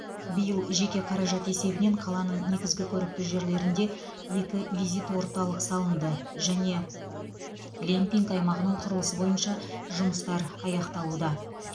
биыл жеке қаражат есебінен қаланың негізгі көрікті жерлерінде екі визит орталық салынды және глэмпинг аймағының құрылысы бойынша жұмыстар аяқталуда